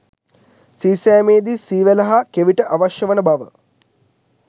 සීසෑමේදී සී වැල හා කෙවිට අවශ්‍ය වන බව